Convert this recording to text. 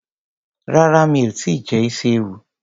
Rárá mi ò tíì jẹ isi ewu.